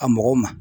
A mɔgɔw ma